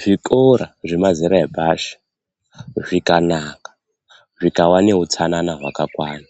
Zvikora zvemazera epashi zvikanaka, zvikava neutsanana hwakakwana